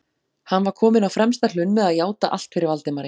Hann var kominn á fremsta hlunn með að játa allt fyrir Valdimari.